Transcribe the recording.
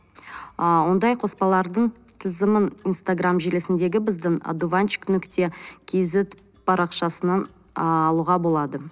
ы ондай қоспалардың тізімін инстаграмм желісіндегі біздің одуванчик нүкте кизет парақшасынан алуға ы болады